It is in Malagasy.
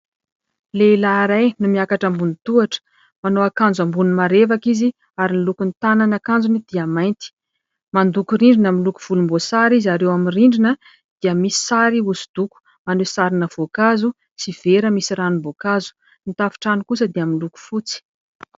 Lehilahy iray no miakatra ambony tohatra ; manao akanjo ambony marevaka izy ary ny lokon'ny tanan'akanjony dia mainty. Mandoko rindrina miloko volomboasary izy ; ary eo amin'ny rindrina dia misy sary hosodoko maneho sarina voankazo sy vera misy ranom-boankazo. Ny tafon-trano kosa dia miloko fotsy.